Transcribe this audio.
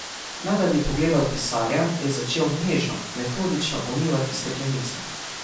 Ne da bi pogledal pisarja, je začel nežno, metodično umivati steklenice.